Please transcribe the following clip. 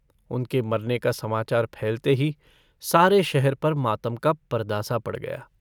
उनके मरने का समाचार फैलते ही सारे शहर पर मातम का पर्दासा पड़ गया।